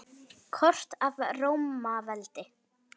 Kort af Rómaveldi.